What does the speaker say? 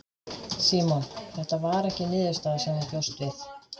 Símon: Þetta var ekki niðurstaða sem þú bjóst við?